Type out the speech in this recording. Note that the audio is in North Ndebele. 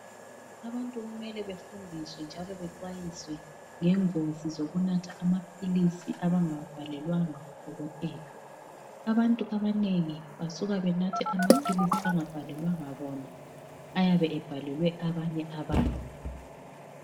Abantu kumele befundiswe njalo bexwayiswe ngengozi zokunatha amaphilizi abangawabhalelwanga ngodokotela. Abantu abanengi basuka benathe amaphilizi angabhalelwanga bona ayabe ebhalelwe abanye abantu.